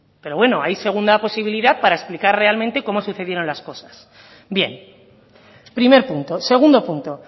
pero bueno ahí segunda posibilidad para explicar realmente cómo sucedieron las cosas bien primer punto segundo punto